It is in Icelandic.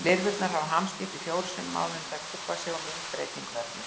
Lirfurnar hafa hamskipti fjórum sinnum áður en þær púpa sig og myndbreyting verður.